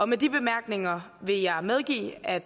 med de bemærkninger vil jeg medgive at